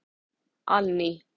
Anný